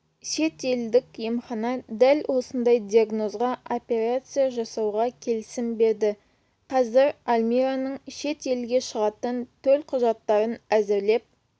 шетелдік емхана дәл осындай диагнозға операция жасауға келісім берді қазір альмираның шетелге шығатын төл құжаттарын әзірлеп